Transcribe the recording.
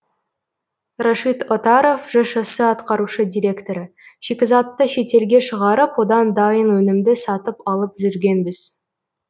рашид отаров жшс атқарушы директоры шикізатты шетелге шығарып одан дайын өнімді сатып алып жүргенбіз